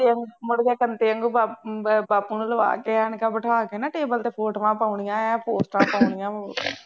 ਮੁੜਕੇ ਕੰਤੇ ਆ ਗੂੰ ਬਾਪੂ ਅਹ ਬਾਪੂ ਨੂੰ ਲਵਾ ਕੇ ਐਨਕਾਂ ਬਿਠਾ ਕੇ ਨਾ table ਦੇ ਕੋਲ ਫੋਟੋਆ ਪਾਉਣੀਆਂ ਆਂ, ਪੋਸਟਾਂ ਪਾਉਣੀਆਂ ਹੋਰ